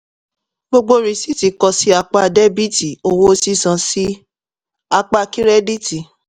gbogbo rìsíìtì kọ sí apá dẹ́bítì owó sísan sí apá kírẹ́dítì.